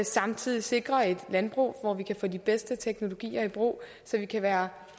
samtidig sikrer et landbrug hvor vi kan få de bedste teknologier i brug så vi kan være